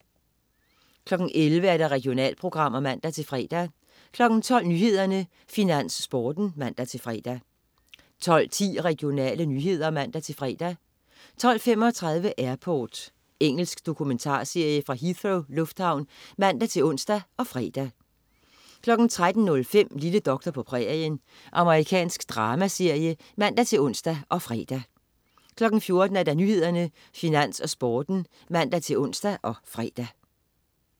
11.00 Regionalprogrammer (man-fre) 12.00 Nyhederne, Finans, Sporten (man-fre) 12.10 Regionale nyheder (man-fre) 12.35 Airport. Engelsk dokumentarserie fra Heathrow lufthavn (man-ons og fre) 13.05 Lille doktor på prærien. Amerikansk dramaserie (man-ons og fre) 14.00 Nyhederne, Finans, Sporten (man-ons og fre)